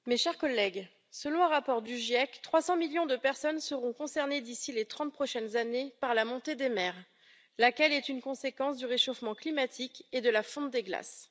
Madame la Présidente, mes chers collègues, selon un rapport du GIEC, 300 millions de personnes seront concernées, d'ici les trente prochaines années, par la montée des mers, laquelle est une conséquence du réchauffement climatique et de la fonte des glaces.